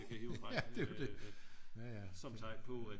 vi kan hive frem som tegn på